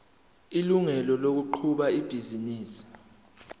ilungelo lokuqhuba ibhizinisi